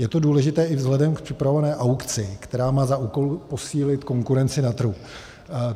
Je to důležité i vzhledem k připravované aukci, která má za úkol posílit konkurenci na trhu.